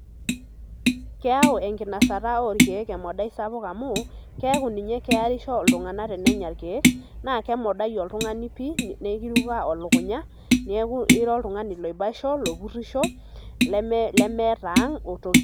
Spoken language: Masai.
Keyau enkinasata orkiek emadau sapuk amu keaku ninye kearisho ltunganak tenenya irkiek nakemodai oltungani pii neiruka elukunya niaku ira oltungani aibaisho, opurisho leelmeeta aang otoki.